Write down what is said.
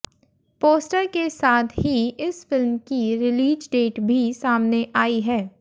poster के साथ ही इस फिल्म की रिलीज डेट भी सामने आई है